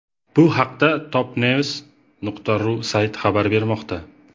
Bu haqda Topnews.ru sayti xabar bermoqda.